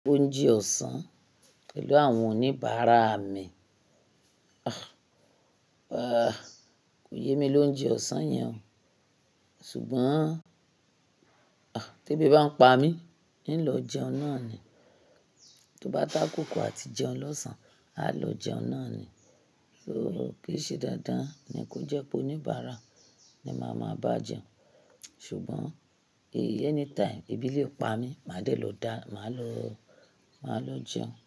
Oúnjẹ ọ̀sán pẹ̀lú àwọn oníbàárà mi. Ah! Kò yé mi l'oúnjẹ ọ̀sán yẹn o. Ṣùgbọ́n tí èbí bá ń pa mí, ní lọ jẹun náà ni. Tó bá tó ákóko àti jẹun lọ́sàn-án, a lọ jẹun náà ni. Kìí ṣe dandan ni kó jẹ́ pé oníbàárà ni máa máa bá jẹun. Ṣùgbọ́n èyí ní táyì, ebí lè pa mí, má dè ló dáa, máa lọ, máa lọ jẹun.